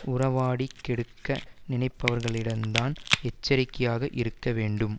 உறவாடிக் கெடுக்க நினைப்பவர்களிடம் தான் எச்சரிக்கையாக இருக்க வேண்டும்